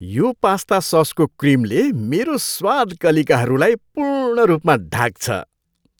यो पास्ता ससको क्रिमले मेरो स्वाद कलिकाहरूलाई पूर्ण रूपमा ढाक्छ।